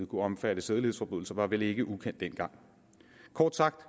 kunne omfatte sædelighedsforbrydelser var vel ikke ukendt dengang kort sagt